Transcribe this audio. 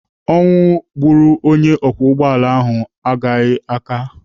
Ọnwụ gburu onye ọkwọ ụgbọala ahụ agbaghị aka.